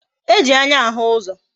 E ji anya ahụ uzo